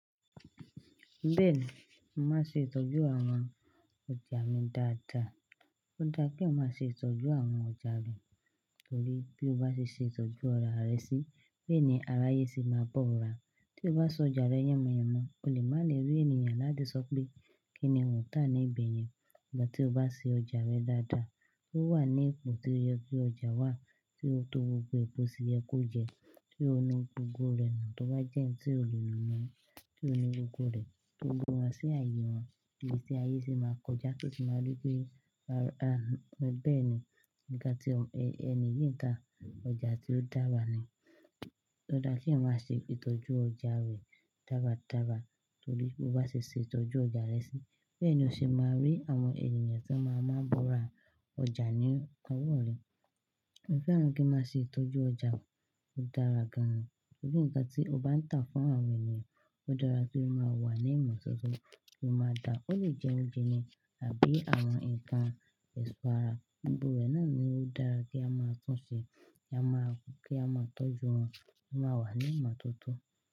Bẹ́ẹ̀ni, mo máa n ṣe itọ́jú àwọn ọjà mi dáadáa. Ó dá ki eeyan ma ṣe itọ́jú àwọn ọjà rẹ, torí bí o bá ṣe itọ́jú ara rẹ sí, bẹ́ẹ̀ ni aráyé sì máa bọ́ra. Tí o bá sọ ọjà rẹ yànmùyánmú, o lè má le rí ènìyàn láti sọ pé kíni òǹtà ní ìbẹ̀yẹn. Sugbon tí o bá ṣe ọjà rẹ dáadáa, ó wà ní ipò tí ó yẹ kí ọjà wà tí ó tó gbogbo ipò tí ẹkú jẹ, tí ó inú gbogbo rẹ̀ náà tó bá jẹ́ ẹni tí ò lè lọmọ, tí ó inú gbogbo rẹ̀ tó gbó wọn sí ààyè wọn, ibi tí ayé sì máa kọjá kí o sì máa rí pé bẹ́ẹ̀ ni nǹkan tí ẹni yi ń tà ọjà tí ó dára ni. Ó dá pé má ṣe itọ́jú ọjà rẹ dáradára torí bí o bá ṣe tọ́jú ọjà rẹ sí, bẹ́ẹ̀ ni o sì máa rí àwọn ènìyàn tí wọn máa ń bọ̀ ra ọjà ní ọwọ́ rẹ. Mo fẹ́ràn kí n má ṣe itọ́jú ọjà tó dára gan-an torí nǹkan tí o bá ń tà fún àwọn ènìyàn, ó dára kí ó máa wà ní ìmọ̀ tó tó tí ó máa dà. Ó lè jẹ oúnjẹ ni àbí àwọn nǹkan èso ara, gbogbo rẹ̀ náà ni ó dára kí a máa túnṣẹ́, kí a máa tọ́jú wọn, kí wọ́n máa wà ní ìmọ̀ tó tó.